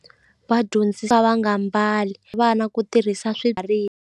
Vadyondzisa va nga mbali vana ku tirhisa .